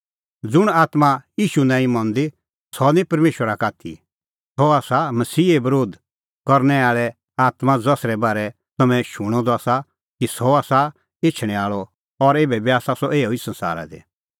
ज़ुंण आत्मां ईशू नांईं मंदी सह निं परमेशरा का आथी सह आसा मसीहे बरोध करनै आल़े आत्मां ज़सरै बारै तम्हैं शूणअ द आसा कि सह आसा एछणैं आल़अ और एभै बी आसा सह एऊ ई संसारा दी